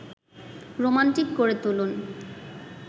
romantic করে তুলুন